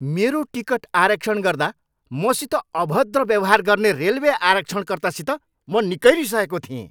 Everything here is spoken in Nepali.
मेरो टिकट आरक्षण गर्दा मसित अभद्र व्यवहार गर्ने रेलवे आरक्षणकर्तासित म निकै रिसाएको थिएँ।